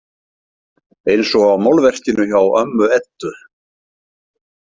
Eins og á málverkinu hjá ömmu Eddu.